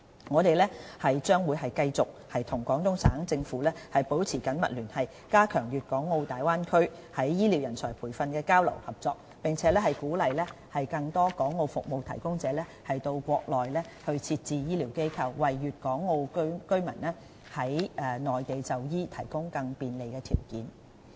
我們將繼續與廣東省政府保持緊密聯繫，加強粵港澳大灣區在醫療人才培訓的交流合作，並鼓勵更多港澳服務提供者到國內設置醫療機構，為粵港澳居民在內地就醫提供更多便利條件。